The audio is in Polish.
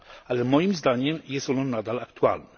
Ale moim zdaniem jest ono nadal aktualne.